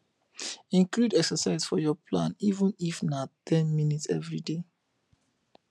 include exercise for your plan even if na ten minutes everyday